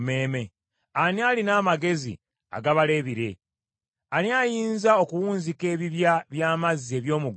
Ani alina amagezi agabala ebire? Ani ayinza okuwunzika ebibya by’amazzi eby’omu ggulu,